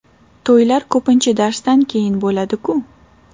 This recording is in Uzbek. To‘ylar ko‘pincha darsdan keyin bo‘ladi-ku.